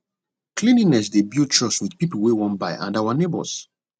cleanliness dey build trust with people wey wan buy and our neighbors